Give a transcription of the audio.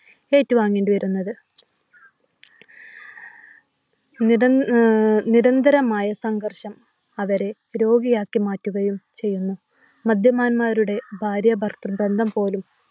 ഏറ്റുവാങ്ങേണ്ടിവരുന്നത്. നിരന്തരമായ സംഘർഷം അവരെ രോഗിയാക്കി മാറ്റുകയും ചെയ്യുന്നു. മദ്യപാന്മാരുടെ ഭാര്യ ഭർതൃ ബന്ധം പോലും